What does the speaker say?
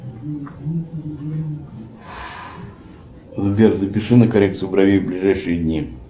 сбер запиши на коррекцию бровей на ближайшие дни